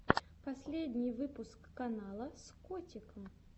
последний выпуск канала с котиком